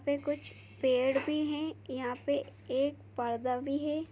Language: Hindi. फिर कुछ पेड़ भी है यहाँ पे एक पर्दा भी है।